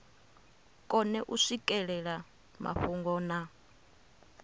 kone u swikelela mafhungo na